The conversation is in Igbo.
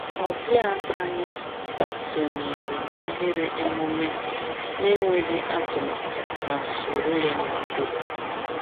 Ọbịa anyị sonyere n’ahịrị emume n’enweghị atụmatụ ma soro ya n’udo.